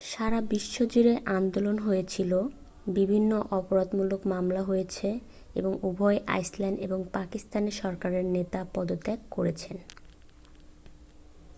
সারা বিশ্ব জুড়ে আন্দোলন হয়েছিল বিভিন্ন অপরাধমূলক মামলা হয়েছে এবং উভয় আইসল্যান্ড ও পাকিস্তানের সরকারের নেতারা পদত্যাগ করেছেন